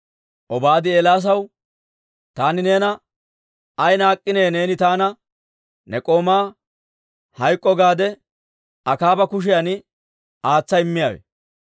Obaadi Eelaasaw, «Taani neena ay naak'k'inee neeni taana ne k'oomaa hayk'k'o gaade Akaaba kushiyan aatsa immiyaawe?